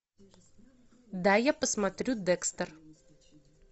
дай я посмотрю декстер